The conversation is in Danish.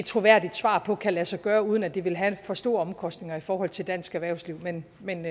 troværdigt svar på kan lade sig gøre uden at det vil have en for stor omkostning i forhold til dansk erhvervsliv men men